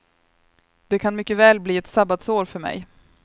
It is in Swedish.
Det kan mycket väl bli ett sabbatsår för mig.